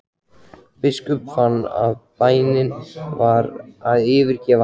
Biskup fann að bænin var að yfirgefa hann.